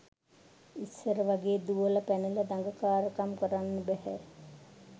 ඉස්සර වගේ දුවලා පැනලා දඟකාරකම් කරන්න බැහැ